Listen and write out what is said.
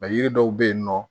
yiri dɔw bɛ yen nɔ